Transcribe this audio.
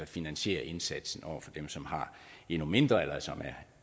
finansierer indsatsen over for dem som har endnu mindre eller som er